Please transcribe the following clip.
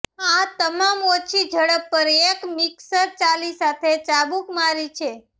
આ તમામ ઓછી ઝડપ પર એક મિક્સર ચાલી સાથે ચાબૂક મારી છે